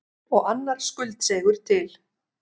Og annar skuldseigur til.